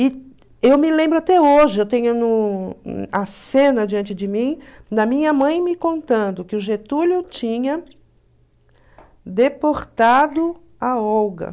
E eu me lembro até hoje, eu tenho no a cena diante de mim, da minha mãe me contando que o Getúlio tinha deportado a Olga.